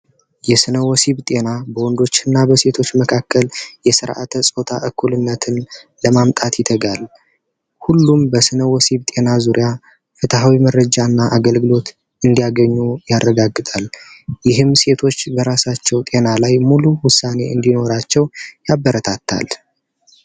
የሥነ ወሲብ ጤና በወንዶችና በሴቶች መካከል የሥርዓተ ፆታ እኩልነትን ለማምጣት ይተጋል። ሁሉም በሥነ ወሲብ ጤና ዙሪያ ፍትሐዊ መረጃና አገልግሎት እንዲያገኙ ያረጋግጣል። ይህም ሴቶች በራሳቸው ጤና ላይ ሙሉ ውሣኔ እንዲኖራቸው ያበረታታል።